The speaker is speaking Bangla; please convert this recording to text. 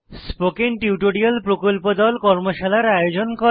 স্পোকেন টিউটোরিয়াল প্রকল্প দল কর্মশালার আয়োজন করে